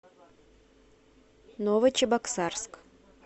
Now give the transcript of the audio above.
новочебоксарск